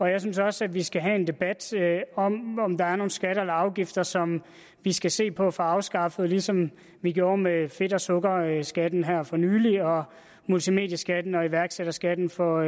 jeg synes også at vi skal have en debat om om der er nogle skatter eller afgifter som vi skal se på at få afskaffet ligesom vi gjorde med fedt og sukkerskatten her for nylig og multimedieskatten og iværksætterskatten for